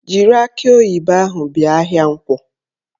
Jiri akị oyibo ahụ bịa ahịa Nkwọ!